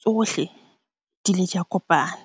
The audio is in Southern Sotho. tsohle di le di a kopana.